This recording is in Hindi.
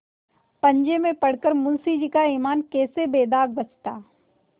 पंजे में पड़ कर मुंशीजी का ईमान कैसे बेदाग बचता